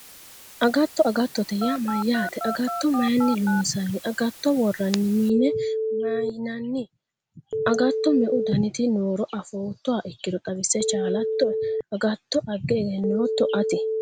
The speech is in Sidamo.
Agatto agattote yaa mayyaate agatto mayinni loonsanni agatto worranni mine maynanni agatto me"u daniti nooro afoottoha ikkiro xawisse chaalattoe agatto agge egennootto ati